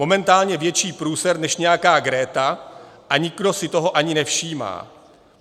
Momentálně větší průser než nějaká Greta, a nikdo si toho ani nevšímá.